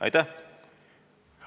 Aitäh!